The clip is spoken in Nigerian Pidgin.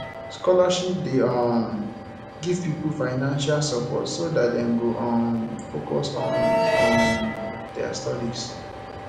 scholarship de um give pipo financial support so that dem go um focus on um their studies